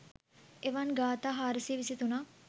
එවන් ගාථා 423 ක්